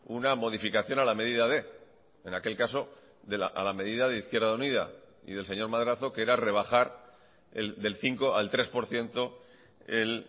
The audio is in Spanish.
una modificación a la medida de en aquel caso a la medida de izquierda unida y del señor madrazo que era rebajar del cinco al tres por ciento el